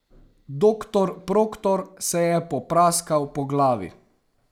Doktor Proktor se je popraskal po glavi.